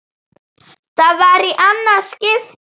Það var í annað skipti.